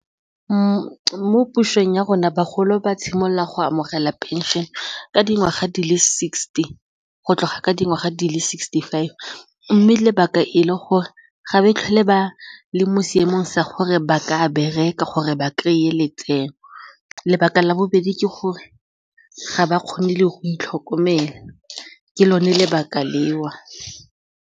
Mo pusong ya rona bagolo ba tshimolola go amogela pension ka dingwaga di le sixty go tloga ka dingwaga di le sixty-five mme lebaka e le gore ga ba tlhole ba le mo seemong sa gore ba ka bereka gore ba kry-e letseno, lebaka la bobedi ke gore ga ba kgone le go itlhokomela ke lone lebaka leo.